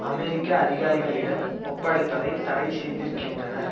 அமெரிக்க அதிகாரிகளிடம் ஒப்படைப்பதை தடை செய்திருக்கின்றனர்